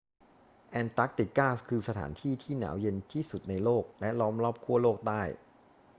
แอนตาร์กติกาคือสถานที่ที่หนาวเย็นที่สุดในโลกและล้อมรอบขั้วโลกใต้